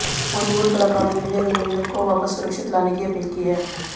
बॉलीवुड कलाकारों ने भी अभिनंदन को वापस सुरक्षित लाने की अपील की है